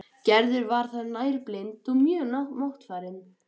Gerður var þá nærri blind og mjög máttfarin.